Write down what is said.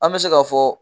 An bɛ se ka fɔ